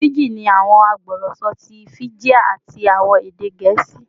Fiji ni awọn agbọrọsọ ti Fijian ati awọn ede Gẹẹsi